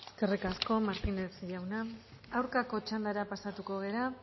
eskerrik asko martínez jauna aurkako txandara pasatuko gara